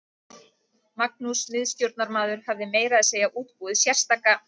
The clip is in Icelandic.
Magnús miðstjórnarmaður hafði meira að segja útbúið sérstaka